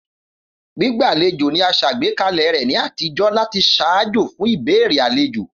Gbígbàlejò ni a sàgbékalẹ̀ rẹ ni àtijó láti ṣaajo fun ìbéèrè alejo.